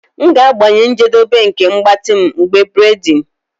M ga-agbanye njedebe nke mgbatị m mgbe braiding